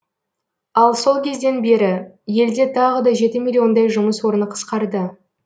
ал сол кезден бері елде тағы да жеті миллиондай жұмыс орны қысқарды